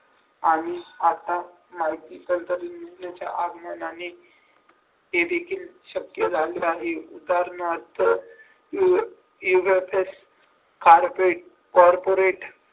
आणि आता माहिती आगमनाने ते देखील शक्य झाले आहे दर कॉर्पोरेट